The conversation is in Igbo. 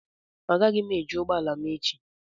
Agaghị m eji ụgbọ ala m echi